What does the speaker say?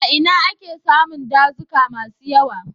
A ina ake samun dazuka masu yawa?